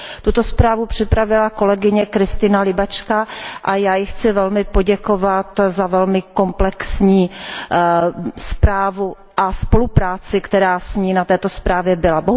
Tuto zprávu připravila kolegyně Krystyna Łybacka a já jí chci velmi poděkovat za velmi komplexní zprávu a spolupráci, která s ní na této zprávě byla.